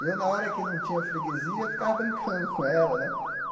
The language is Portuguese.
E eu, na hora que não tinha freguesia, ficava brincando com ela, né?